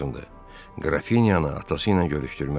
Qrafinyanı atası ilə görüşdürmək.